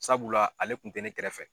Sabula ale kun tɛ ne kɛrɛfɛ.